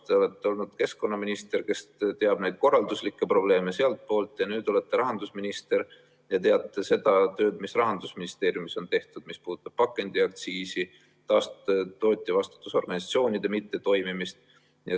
Te olete olnud keskkonnaminister, kes teab neid korralduslikke probleeme sealtpoolt, nüüd olete rahandusminister ja teate seda tööd, mis Rahandusministeeriumis on tehtud, mis puudutab pakendiaktsiisi ja tootjavastutusorganisatsioonide mittetoimimist.